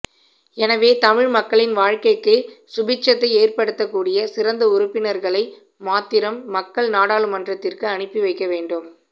எனவே தமிழ் மக்களின் வாழ்க்கைக்கு சுபீட்சத்தை ஏற்படுத்தக்கூடிய சிறந்த உறுப்பினர்களை மாத்திரம் மக்கள் நாடாளுமன்றத்திற்கு அனுப்பி வைக்க வேண்டும்